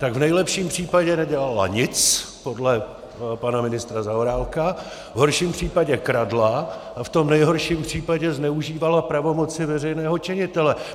Tak v nejlepším případě nedělala nic, podle pana ministra Zaorálka, v horším případě kradla a v tom nejhorším případě zneužívala pravomoci veřejného činitele.